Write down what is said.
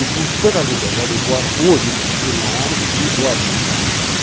E pela liberdade, hoje, eu ainda seguro uma arma e vou à luta.